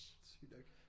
Sygt nok